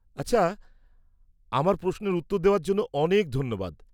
-আচ্ছা। আমার প্রশ্নের উত্তর দেওয়ার জন্য অনেক ধন্যবাদ।